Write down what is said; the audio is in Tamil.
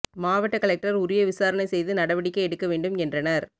மாவட்ட கலெக்டர் உரிய விசாரணை செய்து நடவடிக்கை எடுக்க வேண்டும் என்றனர்